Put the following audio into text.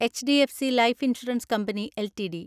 HDFC life insurance company LTD